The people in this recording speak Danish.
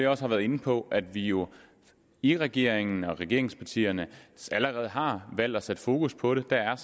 også har været inde på at vi jo i regeringen og i regeringspartierne allerede har valgt at sætte fokus på det der er